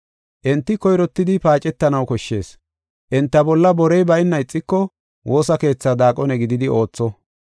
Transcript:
Enti koyrottidi paacetanaw koshshees; enta bolla borey bayna ixiko, woosa keethaa daaqone gididi ootho.